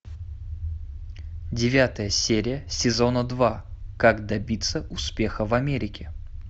девятая серия сезона два как добиться успеха в америке